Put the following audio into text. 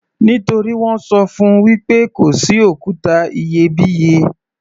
Nítorí wọ́n ṣọ fún -un wí pé kò sí òkúta iyebíye.